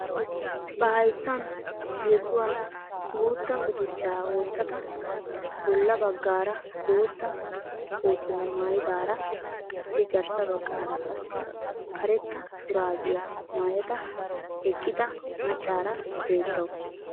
Ba hayttaan yesuwaan guutta guduchchaa wottada bolla baggaara bootta kootiyaa maayidara qassi garssa baggaara qassi karetta shuraabiyaa maayada eqqida maccaara beettawus.